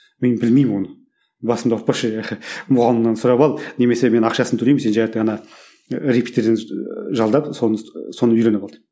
мен білмеймін оны басымды ауыртпашы мұғалімнен сұрап ал немесе мен ақшасын төлеймін сен ана репетитор жалдап соны соны үйреніп ал деп